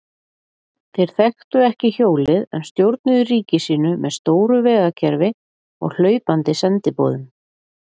Þeir þekktu ekki hjólið en stjórnuðu ríki sínu með stóru vegakerfi og hlaupandi sendiboðum.